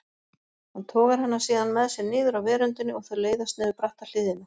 Hann togar hana síðan með sér niður af veröndinni og þau leiðast niður bratta hlíðina.